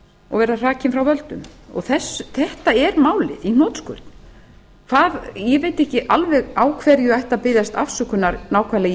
og vera hrakinn frá völdum þetta er málið í hnotskurn ég veit ekki alveg á hverju ætti að biðjast afsökunar nákvæmlega í